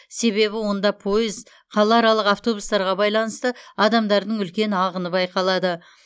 себебі онда пойыз қалааралық автобустарға баиланысты адамдардың үлкен ағыны баиқалады